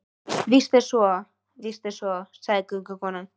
Víst er svo, víst er svo, sagði göngukonan.